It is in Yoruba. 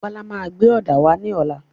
Bọ́lá máa gbé òdà wà ní ọlá.